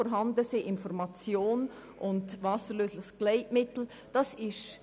Kondome, Information und wasserlösliches Gleitmittel müssen vorhanden sein.